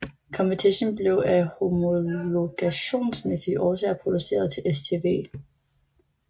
Competition blev af homologationsmæssige årsager produceret til STW